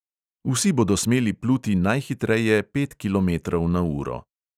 Vsi bodo smeli pluti najhitreje pet kilometrov na uro.